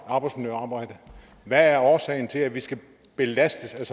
arbejdsmiljøarbejde hvad er årsagen til at vi skal belastes af